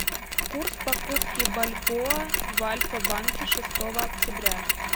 курс покупки бальбоа в альфа банке шестого октября